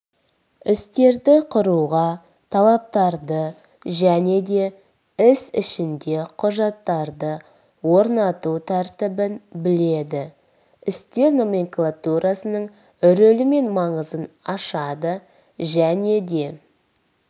істерді құруға талаптарды және де іс ішінде құжаттарды орнату тәртібін біледі істер номенклатурасының рөлі мен маңызын ашады және де